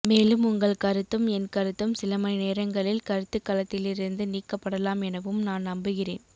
மேலும் உங்கள் கருத்தும் என் கருத்தும் சில மணி நேரங்களில் கருத்துக் களத்திலிருந்து நீக்கப் படலாம் எனவும் நான் நம்புகிறேன்